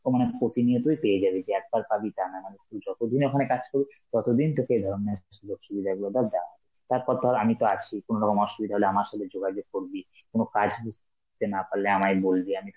অ মানে প্রতিনিয়তই পেয়ে যাবি, যে একবার পাবি তানা, মানে তুই যতদিন ওখানে কাজ করবি ততদিন তোকে এই ধরনের সুযোগ-সুবিধা গুলো দেওয়া হবে. তারপর ধর আমি তো আছি, কোনরকম অসুবিধা হলে আমার সাথে যোগাযোগ করবি, কোন কাজ বুঝতে না পারলে আমায় বলবে, আমি